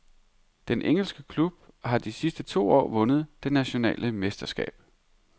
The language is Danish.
Den engelske klub har de sidste to år vundet det nationale mesterskab.